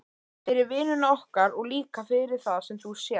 Fyrir vinnuna okkar og líka fyrir það sem þú sérð.